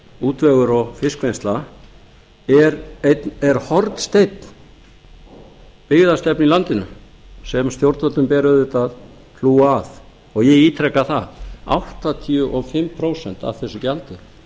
útvegur og fiskvinnsla er hornsteinn byggðastefnu í landinu sem stjórnvöldum ber auðvitað að hlúa að og ég ítreka það áttatíu og fimm prósent af þessu gjaldi